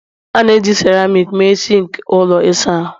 A na-eji seramiiki mee sinki ụlọ ịsa ahụ